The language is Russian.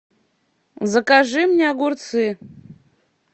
закажи мне огурцы